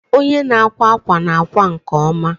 Onye na-akwa akwa na-akwa nke ọma